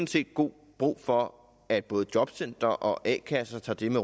set god brug for at både jobcentre og a kasser tager det